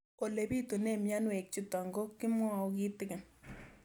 Ole pitune mionwek chutok ko kimwau kitig'�n